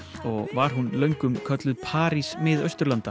og var hún löngum kölluð París Mið